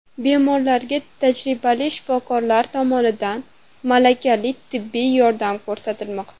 Bemorlarga tajribali shifokorlar tomonidan malakali tibbiy yordam ko‘rsatilmoqda.